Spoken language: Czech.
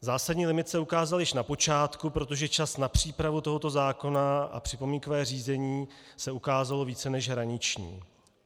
Zásadní limit se ukázal již na počátku, protože čas na přípravu tohoto zákona a připomínkové řízení se ukázalo více než hraniční.